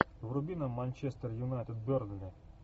вруби нам манчестер юнайтед бернли